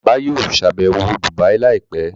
Bàbá yóò ṣàbẹ̀wọ̀ Dubai láìpẹ́